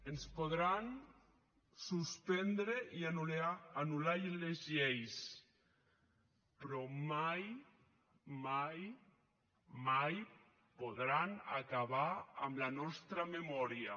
ens podran suspendre i anul·lar les lleis però mai mai mai podran acabar amb la nostra memòria